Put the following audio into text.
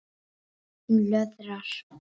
Hún löðrar.